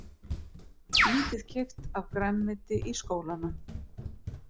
Lítið keypt af grænmeti í skólana